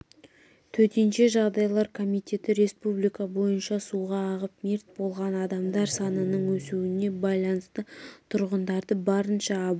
төтенше жағдайлар комитеті республика бойынша суға ағып мерт болған адамдар санының өсуіне байланысты тұрғындарды барынша абай